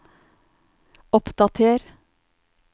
oppdater